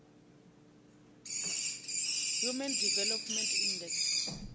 human development index